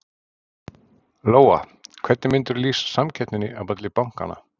Lóa: Hvernig myndirðu lýsa samkeppninni á milli bankanna?